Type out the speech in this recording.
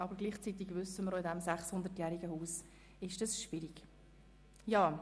Zugleich wissen wir aber auch, dass dies in diesem 600-jährigen Haus schwierig ist.